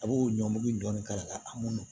A b'o ɲɔngiri dɔɔnin k'a la a man nɔgɔn